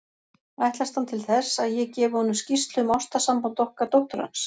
Ætlast hann til þess, að ég gefi honum skýrslu um ástarsamband okkar dóttur hans?